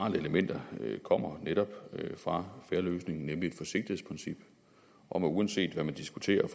elementer kommer netop fra fair løsning nemlig et forsigtighedsprincip om at uanset hvad man diskuterer og